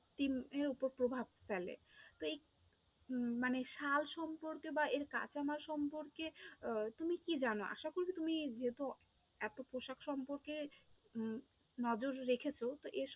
উপর প্রভাব ফেলে তো এই মানে শাল সম্পর্কে বা এর কাঁচামাল সম্পর্কে আহ তুমি কি জানো? আশা করছি তুমি যেহেতু এতো পোশাক সম্পর্কে উম নজর রেখেছো তো এর